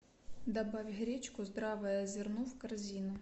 добавь гречку здравое зерно в корзину